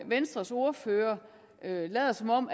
venstres ordfører lader som om